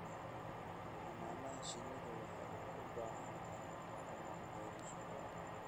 Xannaanada shinnidu waxay u baahan tahay dhaqammo beerasho waara.